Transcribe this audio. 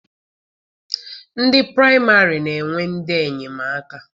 Ndị praịmarị na-enwe ndị enyemaka.